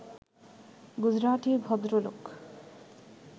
গুজরাটি ভদ্রলোক